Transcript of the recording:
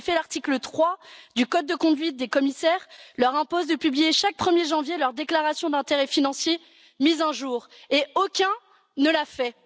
En effet, l'article 3 du code de conduite des commissaires leur impose de publier chaque 1er janvier leur déclaration d'intérêts financiers mise à jour, or aucun ne l'a fait.